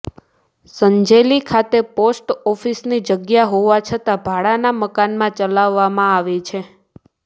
સંજેલી ખાતે પોસ્ટ ઓફિસની જગ્યા હોવા છતાં ભાડાના મકાનમાં ચલાવવામાં આવે છે